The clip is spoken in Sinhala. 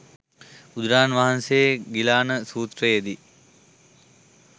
බුදුරජාණන් වහන්සේ ගිලාන සූත්‍රයේ දී